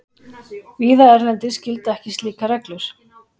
Víða erlendis gilda ekki slíkar reglur.